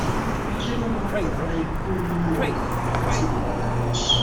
kí ló máa ń fa ikuriri ọkàn àti black outs